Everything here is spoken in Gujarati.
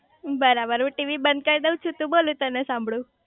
બરાબર હું ટીવી બંધ કરી દવ છું તુ બોલ હું તને સાંભળું